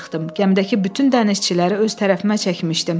Gəmidəki bütün dənizçiləri öz tərəfimə çəkmişdim.